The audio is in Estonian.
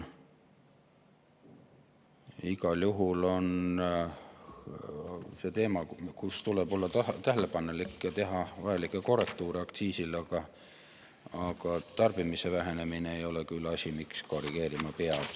Igal juhul on see teema, mille puhul tuleb olla tähelepanelik ja teha vajalikke korrektuure aktsiisis, aga tarbimise vähenemine ei ole küll, miks seda korrigeerima peab.